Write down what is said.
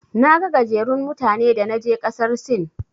Naga gajerun mutane da naje ƙasar Sin.